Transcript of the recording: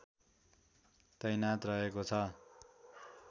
तैनाथ रहेको छ